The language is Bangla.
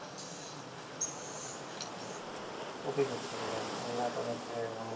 খুবই দুঃখজনক আল্লাহ তাদেরকে